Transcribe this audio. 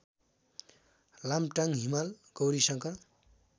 Lamtang Himal Gaurishankar